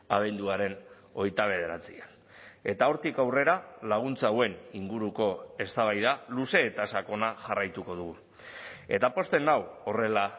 abenduaren hogeita bederatzian eta hortik aurrera laguntza hauen inguruko eztabaida luze eta sakona jarraituko dugu eta pozten nau horrela